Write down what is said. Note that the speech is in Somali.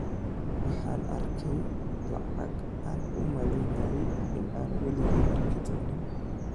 Waxa aan arkayay lacag aan u malaynayay in aanan waligay arki doonin.